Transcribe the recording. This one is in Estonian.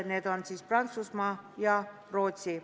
Sellised riigid on Prantsusmaa ja Rootsi.